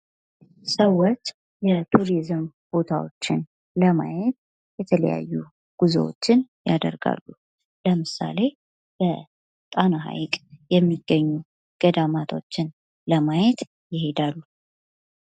ሰዎች የቱሪዝም ቦታዎችን ለማየት የተለያዩ ጉዞዎችን ያደርጋሉ ። ለምሳሌ ፦በጣና ሐይቅ የሚገኙ ገዳማቶችን ለማየት ይሄዳሉ ።